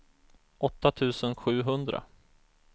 åtta tusen sjuhundra